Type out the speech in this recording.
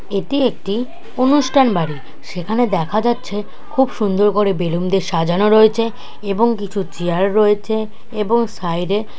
এটি একটি অনুষ্ঠান বাড়ির সেখানে দেখা যাচ্ছে খুব সুন্দর করে বেলুনদের সাজানো রয়েছে এবং কিছু চেয়ার রয়েছে এবং সাইড -এ --